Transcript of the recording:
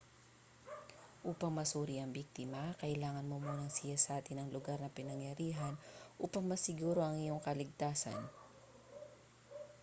upang masuri ang biktima kailangan mo munang siyasatin ang lugar ng pinangyarihan upang masiguro ang iyong kaligtasan